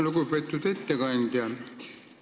Lugupeetud ettekandja!